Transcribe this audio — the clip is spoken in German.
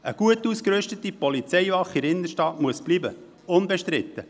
Eine gut ausgerüstete Polizeiwache in der Innenstadt muss bleiben, das ist unbestritten.